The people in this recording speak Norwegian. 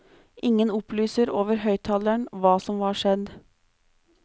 Ingen opplyser over høyttaleren hva som var skjedd.